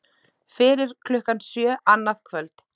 Fyrir klukkan sjö annað kvöld